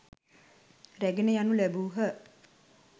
රැගෙන යනු ලැබූහ.